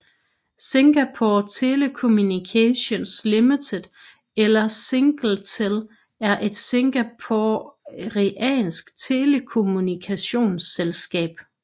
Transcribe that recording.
Singapore Telecommunications Limited eller Singtel er et singaporeansk telekommunikationsselskab